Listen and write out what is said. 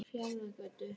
Fjarðargötu